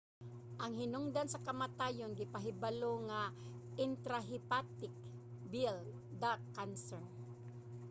ang hinungdan sa kamatayon gipahibalo nga intrahepatic bile duct cancer